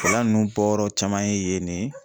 gɛlɛya ninnu bɔyɔrɔ caman ye yen ne